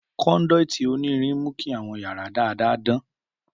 Conduit onirin mu ki awọn yara dada dan.